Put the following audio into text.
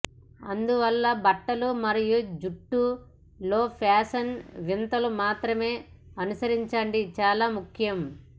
అందువలన బట్టలు మరియు జుట్టు లో ఫ్యాషన్ వింతలు మాత్రమే అనుసరించండి చాలా ముఖ్యం